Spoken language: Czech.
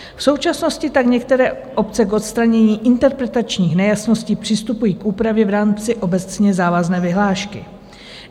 V současnosti tak některé obce k odstranění interpretačních nejasností přistupují k úpravě v rámci obecně závazné vyhlášky.